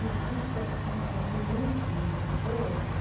Existe, assim, um limite de pessoas?